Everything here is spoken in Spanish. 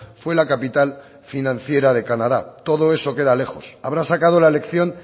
fue la capital financiera de canadá todo eso queda lejos habrá sacado la lección